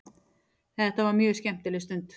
Þetta var mjög skemmtileg stund.